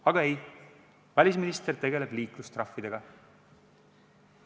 Aga ei, välisminister tegeleb liiklustrahvidega.